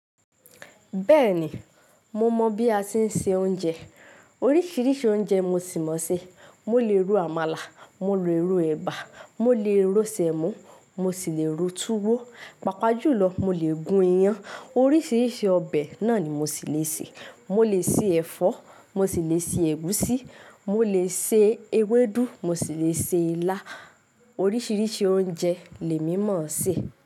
Bẹ́ẹ̀ni, mo mọ bí a tí ń se oúnjẹ. Oríṣìíríṣìí oúnjẹ mo sì mọ̀-ọ́n sè. Mo lè ro àmàlà, mo lè ro ẹ̀bà, mo lè ro sẹ̀mó mo sì lè ro túwó. Pàpá jùlọ, mo lè gún iyán. Oríṣìíríṣìí ọbẹ̀ náà ni mo sì le sè. Mo lè se ẹ̀fọ́, mo sì lè se ẹ̀gúsí, mo lè se ewédú, mo sì lè se ilá. Oríṣìíríṣìí oúnjẹ lèmí mọ̀-ọ́n sè.